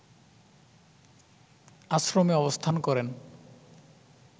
আশ্রমে অবস্থান করেন